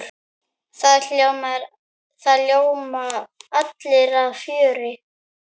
Það ljóma allir af fjöri.